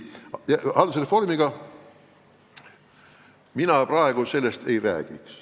Haldusreformi jätkamisest ma praegu ei räägiks.